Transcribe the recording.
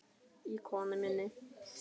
í konu minni.